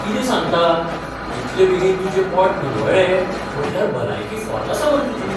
कितें सांगता? इतलें बेगीन तुजें पोट निवळ्ळें म्हटल्यार भलायकी फॉर्त आसा मरे तुजी.